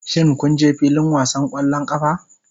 Shin kun je filin wasan ƙwallon ƙafa?